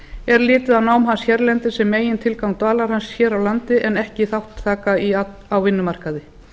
er litið á nám hans hérlendis sem megintilgang dvalar hans hér á landi en ekki þátttaka á vinnumarkaði